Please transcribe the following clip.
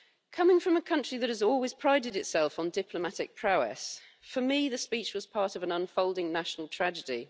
Coming from a country that has always prided itself on diplomatic prowess, for me the speech was part of an unfolding national tragedy.